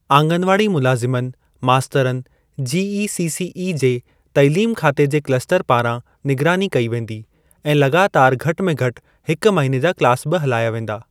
आंगनवाड़ी मुलाज़िमनि, मास्तरनि जीईसीसीई जे तालीम खाते जे क्लस्टर पारां निगरानी कई वेंदी ऐं लॻातारि घटि में घटि हिक महीने जा क्लास बि हलाया वेंदा।